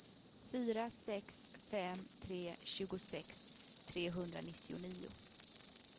fyra sex fem tre tjugosex trehundranittionio